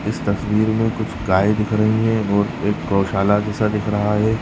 इस तस्वीर में कुछ गाय दिख रही हैं और एक गौशाला जैसा दिख रहा है।